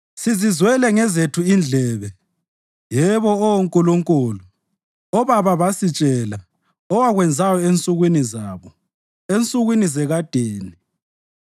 Sizizwele ngezethu indlebe, yebo Oh Nkulunkulu obaba basitshela owakwenzayo ensukwini zabo, ensukwini zekadeni.